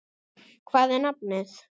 Hvað er nafnið?